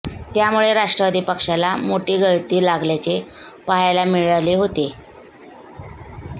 त्यामुळे राष्ट्रवादी पक्षाला मोठी गळती लागल्याचे पहायला मिळाले होते